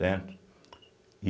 Certo?